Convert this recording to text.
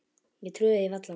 Ég trúði því varla.